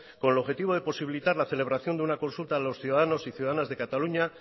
con el objetivo de posibilitar la celebración de una consulta de los ciudadanos y ciudadanas de cataluña